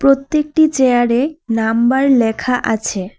প্রত্যেকটি চেয়ারের নাম্বার লেখা আছে।